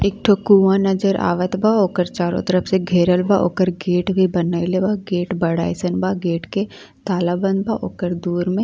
एठो कुवा नजर आवत बा। ओकर चारो तरफ से घेरल बा। ओकर गेट भी बनैले बा। गेट बड़ा अइसन बा। गेट के ताला बंद बा ओकर दुवर में।